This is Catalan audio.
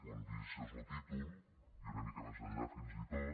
quan llegeixes lo títol i una mica més enllà fins i tot